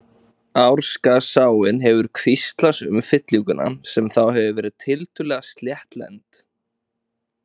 Árskarðsáin hefur kvíslast um fyllinguna sem þá hefur verið tiltölulega sléttlend.